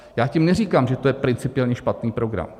Já tím neříkám, že to je principiálně špatný program.